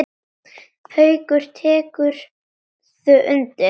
Haukur: Tekurðu undir það?